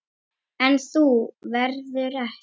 En þú verður eftir.